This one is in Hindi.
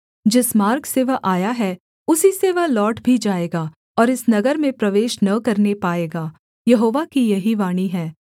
जिस मार्ग से वह आया है उसी से वह लौट भी जाएगा और इस नगर में प्रवेश न करने पाएगा यहोवा की यही वाणी है